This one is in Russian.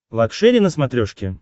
лакшери на смотрешке